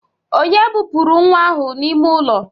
Onye bupuru nwa ahu n'ime ulo?